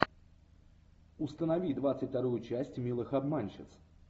установи двадцать вторую часть милых обманщиц